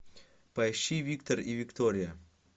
поищи виктор и виктория